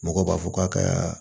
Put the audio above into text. Mɔgɔw b'a fɔ k'a ka